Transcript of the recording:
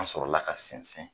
An sɔrɔla ka sinsin